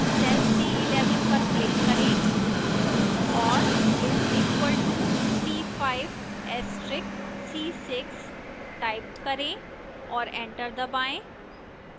cell c11 पर click करें और is equal to c5 asterix c6 type करें और enter दबाएं